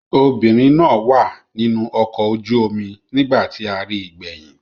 Obìnrin náà wà nínú ọkọ̀ ojú-omi nígbà tí a ri gbẹ̀yìn.